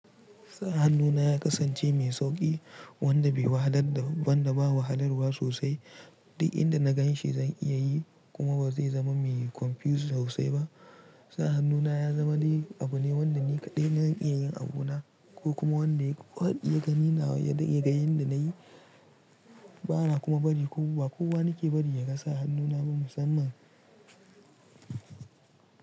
Sa hannu na ya kasance mai sauƙi, wanda bai wahalar da, wanda babu wahalarwa sosai. Duk inda na ganshi zan iya yi, kuma ba zai zama mai confuse sosai ba. Sa hannu na ya zama dai abu ne wanda ni kaɗai zan iya yin abu na ko kuma wanda kowa ya ga ni na, ya ga yin da na yi. Ba na kuma bari kowa, kowa nake bari ya ga sa hannu na bin musamman.